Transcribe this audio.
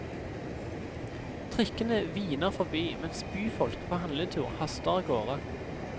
Trikkene hviner forbi, mens byfolk på handletur haster av gårde.